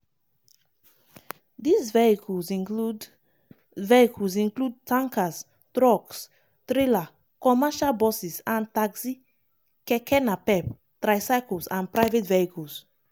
dis vehicles include vehicles include tankers trucks trailer commercial buses and taxi keke napep tricycles and private vehicles.